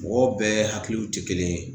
Mɔgɔw bɛɛ hakiliw te kelen ye.